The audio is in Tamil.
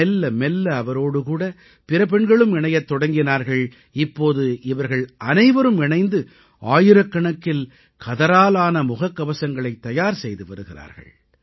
மெல்ல மெல்ல அவரோடு கூட பிற பெண்களும் இணையத் தொடங்கினார்கள் இப்போது இவர்கள் அனைவரும் இணைந்து ஆயிரக்கணக்கில் கதராலான முகக்கவசங்களைத் தயார் செய்து வருகிறார்கள்